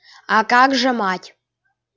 а как же мать